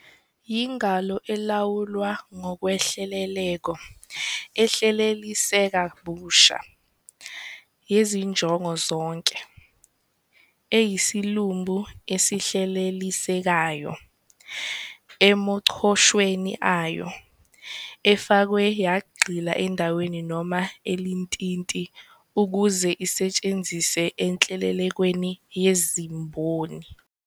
"yingalo elawulwa ngokwehleleleko, ehleleliseka busha, yezinjongo zonke, eyisilumbi esihlelelisekayo emachoshweni ayo, efakwe yagxila endaweni noma elintinti ukuze isetshenziswe enhlelelekweni yezemboni."